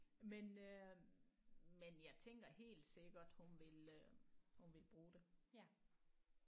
Men øh men jeg tænker helt sikkert hun vil øh hun vil bruge det